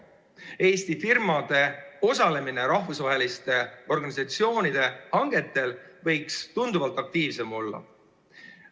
Eesti firmade osalemine rahvusvaheliste organisatsioonide hangetel võiks tunduvalt aktiivsem olla.